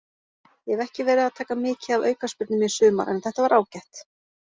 Ég hef ekki verið að taka mikið af aukaspyrnum í sumar en þetta var ágætt.